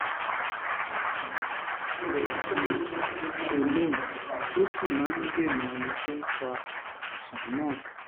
steroid ni prednisolone ó sì máa ń dènà ohun tó ń fa àìsàn náà